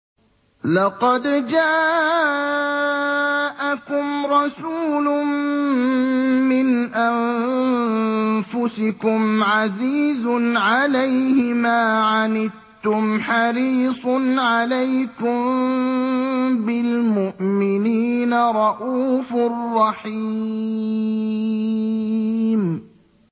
لَقَدْ جَاءَكُمْ رَسُولٌ مِّنْ أَنفُسِكُمْ عَزِيزٌ عَلَيْهِ مَا عَنِتُّمْ حَرِيصٌ عَلَيْكُم بِالْمُؤْمِنِينَ رَءُوفٌ رَّحِيمٌ